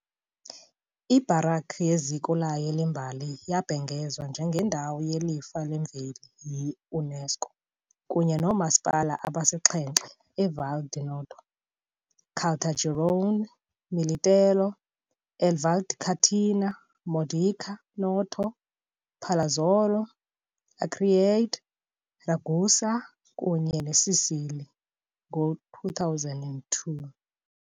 I -baroque yeziko layo lembali yabhengezwa njengeNdawo yeLifa leMveli yi- UNESCO, kunye noomasipala abasixhenxe eVal di Noto, Caltagirone, Militello eVal di Catania, Modica, Noto, Palazzolo Acreide, Ragusa kunye neScicli , ngo-2002.